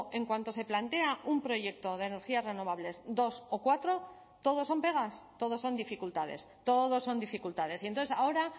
en cuanto se plantea un proyecto de energías renovables dos o cuatro todos son pegas todos son dificultades todos son dificultades y entonces ahora